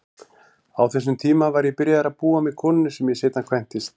Á þessum tíma var ég byrjaður að búa með konunni sem ég seinna kvæntist.